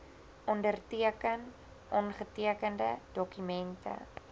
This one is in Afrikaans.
onderteken ongetekende dokumente